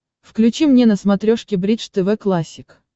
включи мне на смотрешке бридж тв классик